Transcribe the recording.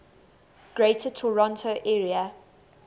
greater toronto area